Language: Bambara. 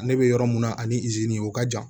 Ne bɛ yɔrɔ min na ani izini o ka jan